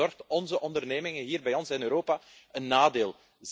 Dat bezorgt onze ondernemingen hier in Europa een nadeel.